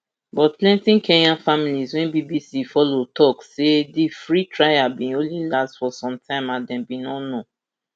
but plenti kenyan families wey bbc follow tok say di free trial bin only last for some time and dem bin no know